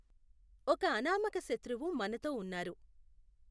ఒక అనామక శత్రువు మనతో ఉన్నారు.